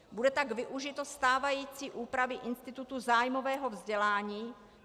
Bude tak užito stávající úpravy institutu zájmového vzdělání.